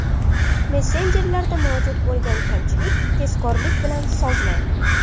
Messenjerda mavjud bo‘lgan kamchilik tezkorlik bilan sozlandi.